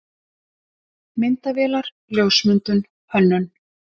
MYNDAVÉLAR, LJÓSMYNDUN, HÖNNUN